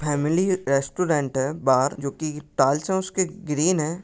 Family restaurant है बाहर जोकि टाइल्से उसके ग्रीन है।